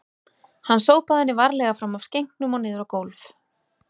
Hann sópaði henni varlega fram af skenknum og niður á gólf